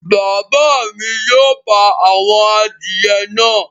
Bàbá mi yóò pa àwọn adìyẹ náà